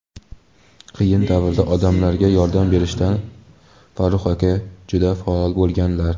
qiyin davrda odamlarga yordam berishda Farruh aka juda faol bo‘lganlar.